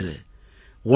இன்று 1